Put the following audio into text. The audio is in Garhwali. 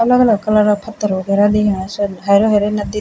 अलग अलग कलरा क फत्थर वगेरा दिखेणा छन हेरू हेरू नद्दी --